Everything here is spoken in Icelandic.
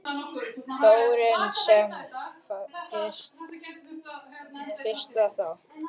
Þórhildur: Sem fyrst þá?